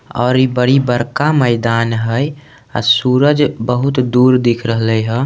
और इ बड़ी बड़का मैदान है अ सूरज बहुत दूर दिख रहले हेय।